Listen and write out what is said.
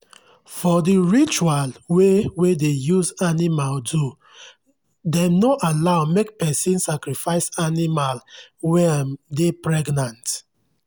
for the ritual wey wey dey use animal do dem no allow make person sacrifice animal wey um dey pregnant.